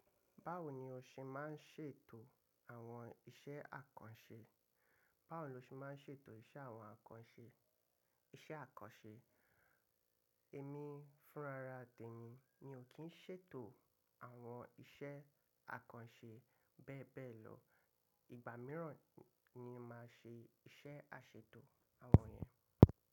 Báwo ni o ṣe máa ń ṣètò àwọn iṣẹ́ àkànṣe? Báwo lo ṣe máa ń ṣètò iṣẹ́ àwọn àkànṣe, iṣẹ́ àkànṣe? Èmi fúnra rà tẹ mi, mi ò kí ń ṣètò àwọn iṣẹ́ àkànṣe bẹ́ẹ̀ bẹ́ẹ̀ lọ. Ìgbà mìíràn ni màá ṣe iṣẹ́ àṣètò àwọn yẹn.